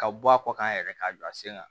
Ka bɔ a kɔ kan yɛrɛ k'a don a sen kan